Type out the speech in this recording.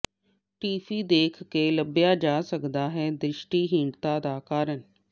TV ਦੇਖ ਕੇ ਲੱਭਿਆ ਜਾ ਸਕਦਾ ਹੈ ਦ੍ਰਿਸ਼ਟੀਹੀਣਤਾ ਦਾ ਕਾਰਨ